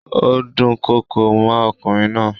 Ó dúnkokò mọ́ ọkùnrin náà.